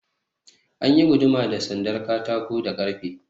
An yi guduma da sandar katako da ƙarfe.